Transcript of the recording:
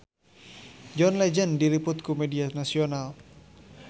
John Legend diliput ku media nasional